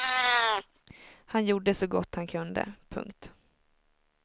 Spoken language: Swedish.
Han gjorde så gott han kunde. punkt